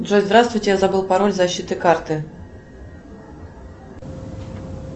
джой здравствуйте я забыла пароль защиты карты